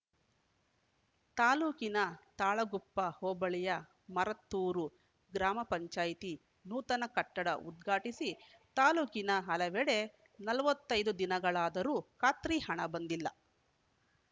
ತಾಲೂಕಿನ ತಾಳಗುಪ್ಪ ಹೋಬಳಿಯ ಮರತ್ತೂರು ಗ್ರಾಮ ಪಂಚಾಯತಿ ನೂತನ ಕಟ್ಟಡ ಉದ್ಘಾಟಿಸಿ ತಾಲೂಕಿನ ಹಲವೆಡೆ ನಲವತ್ತೈದು ದಿನಗಳಾದರೂ ಖಾತ್ರಿ ಹಣ ಬಂದಿಲ್ಲ